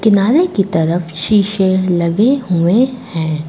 किनारे की तरफ शीशे लगे हुए है।